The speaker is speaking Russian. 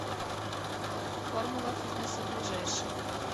формула фитнеса ближайший